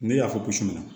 Ne y'a fɔ ko suguma